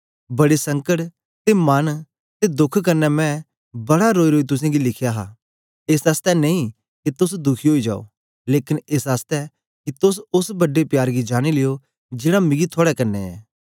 बड़े संकट ते मन दे दोख क्न्ने मैं बड़ा रोईरोई तुसेंगी लिखया हा एस आसतै नेई के तोस दुखी ओई जाओ लेकन एस आसतै के तोस ओस बड्डे प्यार गी जानी लिओ जेड़ा मिकी थुआड़े कन्ने ऐ